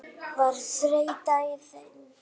Var þreyta í þeim?